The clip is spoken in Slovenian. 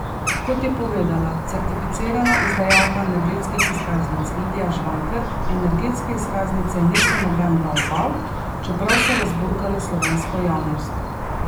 Kot je povedala certificirana izdajalka energetskih izkaznic Lidija Žvajker, energetske izkaznice niso noben bav bav, čeprav so razburkale slovensko javnost.